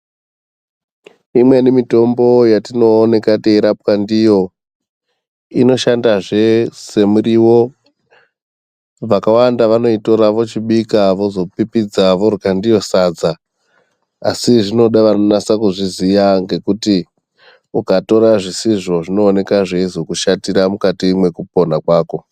Imweni mitombo yatinooneka teirapwa ndiyo inoshandazve semiriwo. Vakawanda vanoitora vochibika vozopipidza vorya ndiyo sadza. Asi zvinoda vanonasa kuzviziya ngekuti ukatora zvisizvo zvinooneka zveizokushatira mukati mwekupona kwako.